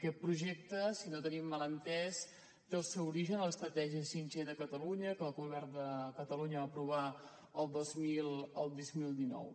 aquest projecte si no ho tenim mal entès té el seu origen en l’estratègia 5g de catalunya que el govern de catalunya va aprovar el dos mil dinou